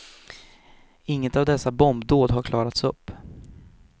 Inget av dessa bombdåd har klarats upp.